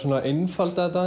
einfalda þetta